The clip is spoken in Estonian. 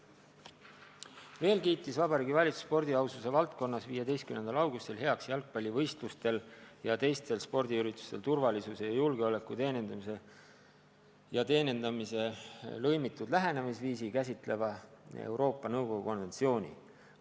Veel kiitis Vabariigi Valitsus spordi aususe valdkonnas 15. augustil heaks jalgpallivõistlustel ja teistel spordiüritustel turvalisuse, julgeoleku ja teenindamise lõimitud lähenemisviisi käsitleva Euroopa Nõukogu konventsiooni.